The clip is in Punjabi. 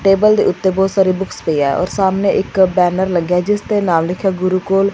ਟੇਬਲ ਟੇਬਲ ਦੇ ਉੱਤੇ ਬਹੁਤ ਸਾਰੇ ਬੁੱਕਸ ਪਈ ਆ ਔਰ ਸਾਹਮਣੇ ਇੱਕ ਬੈਨਰ ਲੱਗਿਆ ਜਿਸ ਦੇ ਨਾਲ ਲਿਖਿਆ ਗੁਰੂ ਕੁਲ--